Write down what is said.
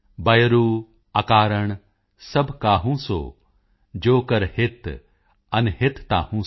ਬਯਰੂ ਅਕਾਰਣ ਸਬ ਕਾਹੂ ਸੋਂ ਜੋ ਕਰ ਹਿਤ ਅਨਹਿਤ ਤਾਹੂ ਸੋਂ॥